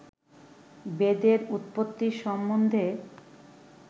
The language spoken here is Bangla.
বেদের উৎপত্তি সম্বন্ধে